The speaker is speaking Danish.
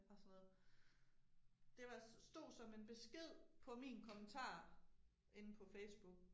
Og sådan noget. Det var stod som en besked på min kommentar inde på Facebook